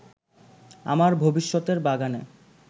আমার ভবিষ্যতের বাগানে